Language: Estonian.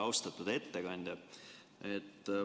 Austatud ettekandja!